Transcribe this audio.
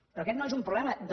però aquest no és un problema del